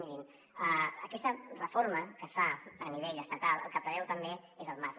mirin aquesta reforma que es fa a nivell estatal el que preveu també és el marc